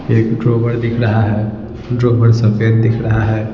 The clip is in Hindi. एक ड्रॉवर दिख रहा है ड्रोवर सफेद दिख रहा है।